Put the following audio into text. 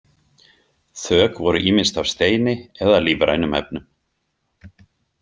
Þök voru ýmist af steini eða lífrænum efnum.